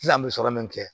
Sisan an bɛ sɔrɔ min kɛ